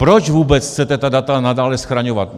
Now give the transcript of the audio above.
Proč vůbec chcete ta data nadále schraňovat?